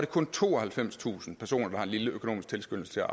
kun tooghalvfemstusind personer der har en lille økonomisk tilskyndelse